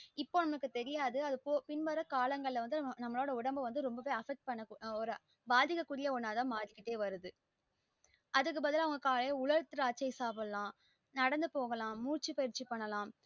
இப்ப நமக்கு தெரியாது அது போ பின் வர காலங்கள நம்ம ஒடம்ப ரொம்பவே affect பண்ண ஒரு பாதிக்க கூடிய ஒண்ணாத மாறிகிட்டே வருது அதுக்கு பதிலா அவங்க காலைல உலர் திராச்சை சாப்டலாம் நடந்து போகலாம் மூச்சு பயிர்ச்சி பண்ணலாம்